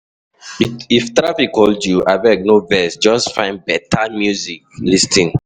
If traffic hold you, abeg no vex, just find better music to lis ten.